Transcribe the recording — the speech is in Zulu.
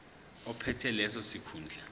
ophethe leso sikhundla